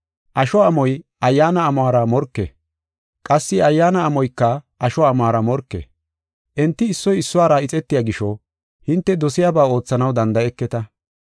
Asho amoy Ayyaana amuwara morke; qassi Ayyaana amoyka asho amuwara morke. Enti issoy issuwara ixetiya gisho hinte dosiyaba oothanaw danda7eketa.